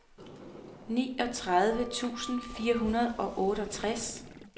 niogtredive tusind fire hundrede og otteogtres